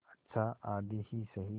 अच्छा आधी ही सही